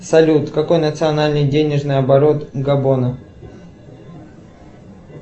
салют какой национальный денежный оборот габона